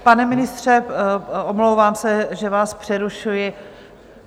Pane ministře, omlouvám se, že vás přerušuji.